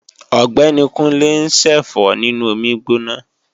Ọ̀gbẹ́ni Kúnlé ń ṣẹ̀fọ́ nínú omi gbígbóná